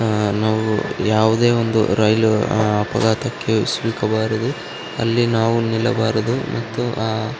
ಆಹ್ಹ್ ನಾವು ಯಾವುದೇ ಒಂದು ರೈಲು ಅಪಘಾತಕ್ಕೆ ಸಿಲುಕಬಾರದು ಅಲ್ಲಿ ನಿಲ್ಲಬಾರದು ಮತ್ತು ಆಹ್ಹ್ --